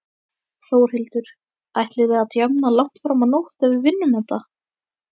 Þórhildur: Ætlið þið að djamma langt fram á nótt ef við vinnum þetta?